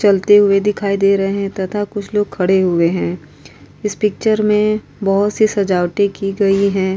चलते हुऐ दिखाई दे रहे हैं तथा कुछ लोग खड़े हुऐ हैं। इस पिक्चर में बहोत सी सजावटें की गई हैं।